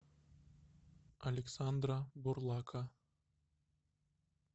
александра бурлака